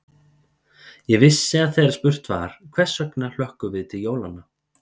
Ég vissi að þegar spurt var: hvers vegna hlökkum við til jólanna?